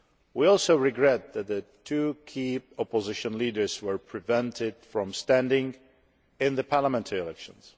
We also regret that the two key opposition leaders were prevented from standing in the parliamentary elections.